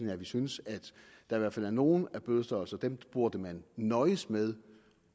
er at vi synes at i hvert fald nogle af bødestørrelserne burde man nøjes med